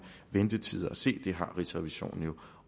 ventetider at se det har rigsrevisionen jo